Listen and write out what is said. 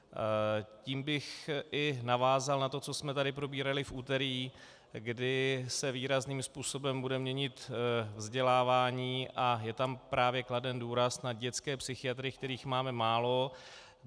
Tím bych i navázal na to, co jsme tady probírali v úterý, kdy se výrazným způsobem bude měnit vzdělávání, a je tam právě kladen důraz na dětské psychiatry, kterých máme málo.